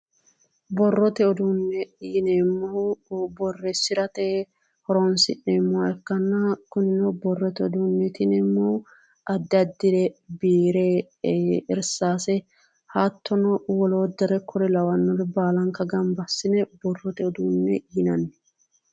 Borrote uduunne yineemmohu borreessirate horoonsi'neemmoha ikkanna kunino borrote uduunneeti yineemmohu addi addire biire irsaase hattono woloottare kuri lawannore baalanka gamba assine borrote uduunne yinanni